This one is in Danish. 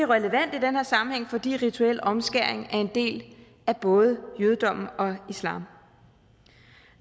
relevant i den her sammenhæng fordi rituel omskæring er en del af både jødedommen og islam